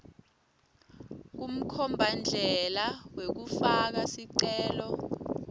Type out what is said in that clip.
kumkhombandlela wekufaka sicelo